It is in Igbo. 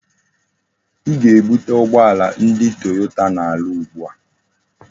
I ga-ebute ugboala ndi Toyota na-aru ugbu a!